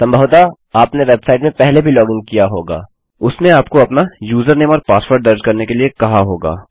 संभवतः आपने वेबसाइट में पहले भी लॉगिन किया होगा और उसने आपको अपना यूजरनेम और पासवर्ड दर्ज करने के लिए कहा होगा